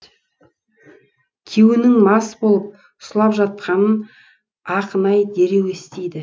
күйеуінің мас болып сұлап жатқанын ақынай дереу естиді